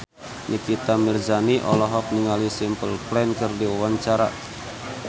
Nikita Mirzani olohok ningali Simple Plan keur diwawancara